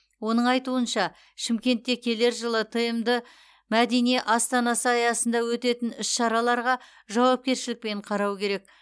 оның айтуынша шымкентте келер жылы тмд мәдени астанасы аясында өтетін іс шараларға жауапкершілікпен қарау керек